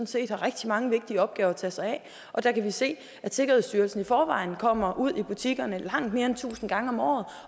set har rigtig mange vigtige opgaver at tage sig af og der kan vi se at sikkerhedsstyrelsen i forvejen kommer ud i butikkerne langt mere end tusind gange om året